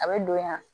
A bɛ don yan